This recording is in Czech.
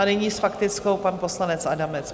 A nyní s faktickou pan poslanec Adamec.